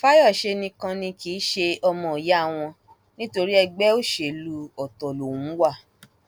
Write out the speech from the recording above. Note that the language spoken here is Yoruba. fàyọṣe nìkan ni kì í ṣe ọmọọyà wọn nítorí ẹgbẹ òṣèlú ọtọ lòun wà